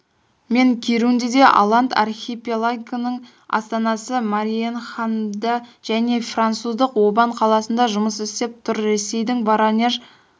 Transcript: мен кирундиде аланд архипелагының астанасы мариенхамнда және француздық обан қаласында жұмыс істеп тұр ресейдің воронеж